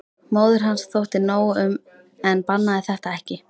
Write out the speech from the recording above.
Móður hans þótti nóg um en bannaði þetta ekki.